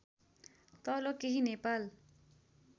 तल केही नेपाल